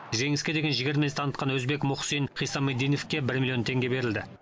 жеңіске деген жігер мінез танытқан өзбек мухсин хиссомиддиновке бір миллион теңге берілді